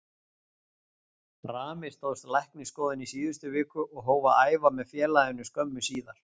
Rami stóðst læknisskoðun í síðustu viku og hóf að æfa með félaginu skömmu síðar.